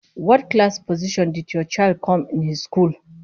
What class position did your child come in his school?